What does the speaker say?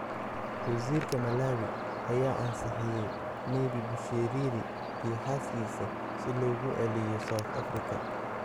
Wasiirka Malawi ayaa ansixiyay Nebi Busheriri iyo xaaskiisa si loogu celiyo South Africa